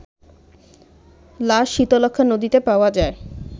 লাশ শীতলক্ষ্যা নদীতে পাওয়া যায়